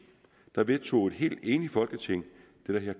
vedtog et helt enigt folketing det